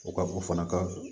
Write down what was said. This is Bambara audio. O ka o fana ka